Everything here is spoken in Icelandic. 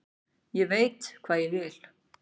Ég veit hvað ég vil!